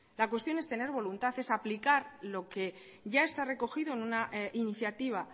la cuestión es tener voluntar es aplicar lo que ya está recogido en una iniciativa